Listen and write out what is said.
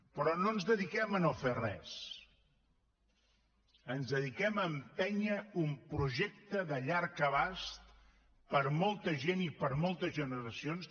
però no ens dediquem a no fer res ens dediquem a empènyer un projecte de llarg abast per a molta gent i per a moltes generacions